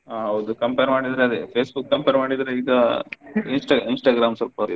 ಆಹ್ ಹೌದು compare ಮಾಡಿದ್ರೆ ಅದೆ Facebook compare ಮಾಡಿದ್ರೆ ಈಗಾ insta~ Instagram ಸ್ವಲ್ಪ ಇದು.